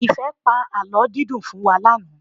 Ìfẹ́ pa àlọ́ dídùn fún wa lánàá.